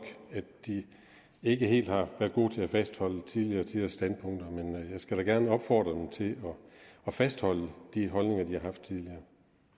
ikke helt har så gode til at fastholde tidligere tiders standpunkter men jeg skal da gerne opfordre dem til at fastholde de holdninger de har haft tidligere